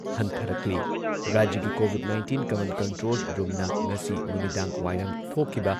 ꯍꯟꯊꯔꯛꯂꯤ꯫ ꯔꯥꯖ꯭ꯌꯒꯤ Covid nineteen command control ꯔꯨꯝꯅ ꯉꯁꯤ ꯅꯨꯃꯤꯗꯥꯡꯋꯥꯏꯔꯝ ꯊꯣꯛꯈꯤꯕ